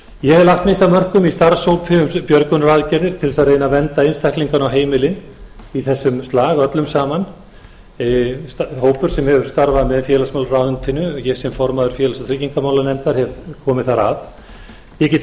ég hef lagt mitt af mörkum í starfshópi um björgunaraðgerðir til að reyna að vernda einstaklingana og heimilin í þessum slag öllum saman hópur sem hefur starfað með félagsmálaráðuneytinu ég sem formaður félags og tryggingamálanefndar hef komið þar að ég get